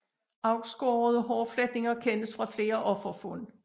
Afskårede hårfletninger kendes fra flere offerfund